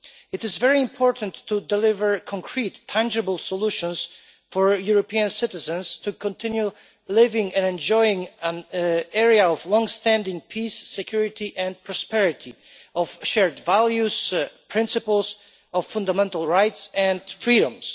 It is very important to deliver concrete, tangible solutions for European citizens to continue living and enjoying an area of longstanding peace, security and prosperity, of shared values, principles of fundamental rights and freedoms.